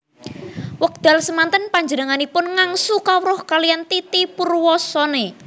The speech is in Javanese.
Wekdal semanten panjenenganipun ngangsu kawruh kaliyan Titi Purwosoenoe